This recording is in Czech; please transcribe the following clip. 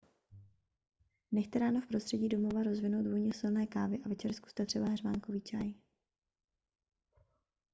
nechte ráno v prostředí domova rozvinout vůni silné kávy a večer zkuste třeba heřmánkový čaj